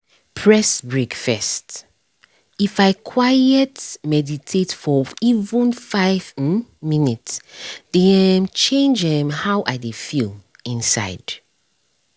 press break first —if i quiet meditate for even five um minutes dey um change um how i dey feel inside